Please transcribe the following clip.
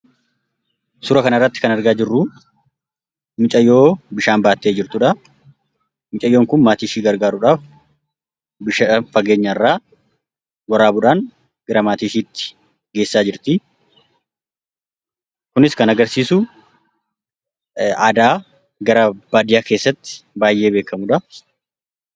Suuraa kanarratti kan argaa jirru mucayyoo bishaan baachaa jirtudha. Mucayyoon kun maatii ishee gargaaruudhaaf bishaan fageenya irraa waraabuudhaan gara maatii isheetti geessaa jirti. Kunis kan agarsiisu aadaa gara baadiyyaa keessatti baay'ee beekamudha.